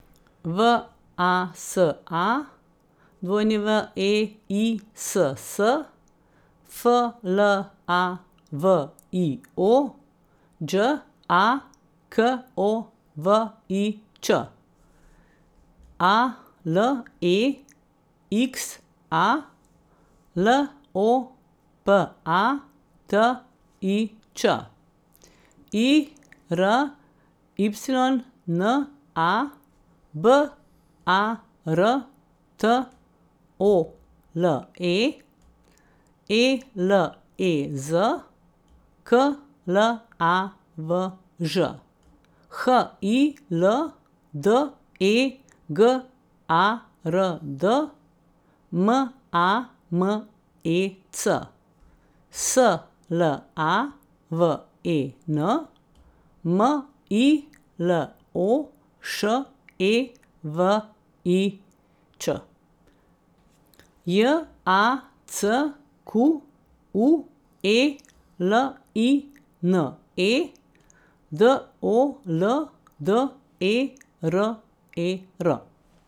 V A S A, W E I S S; F L A V I O, Đ A K O V I Ć; A L E X A, L O P A T I Č; I R Y N A, B A R T O L E; E L E Z, K L A V Ž; H I L D E G A R D, M A M E C; S L A V E N, M I L O Š E V I Ć; J A C Q U E L I N E, D O L D E R E R.